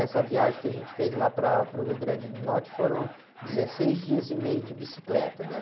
Essa viagem que a gente fez lá para, para o Rio Grande do Norte foram dezesseis dias e meio de bicicleta, né?